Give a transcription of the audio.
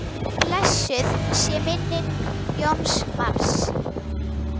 Blessuð sé minning Jóns Mars.